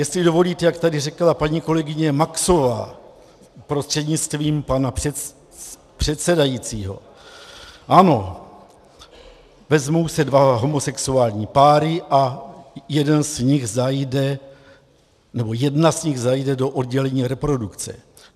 Jestli dovolíte, jak tady říkala paní kolegyně Maxová prostřednictvím pana předsedajícího, ano, vezmou se dva homosexuální páry a jeden z nich zajde - nebo jedna z nich zajde do oddělení reprodukce.